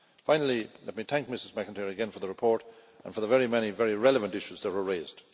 Finally, let me thank Ms McIntyre again for the report, and for the very many very relevant issues that were raised.